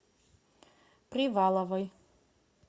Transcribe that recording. приваловой